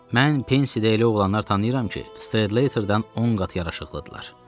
Mən Pensidə elə oğlanlar tanıyıram ki, Stradlaterdən 10 qat yaraşıqlıdırlar.